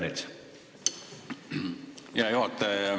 Aitäh, hea juhataja!